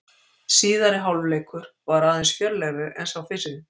Síðari hálfleikur var aðeins fjörlegri en sá fyrri.